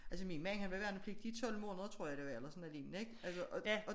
Altså min mand han var i værnepligt i 12 måneder tror jeg det var eller sådan noget lignende ik altså og